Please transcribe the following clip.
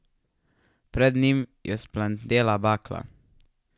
Pred njim je vzplamtela bakla.